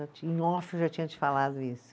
eu já tinha te falado isso.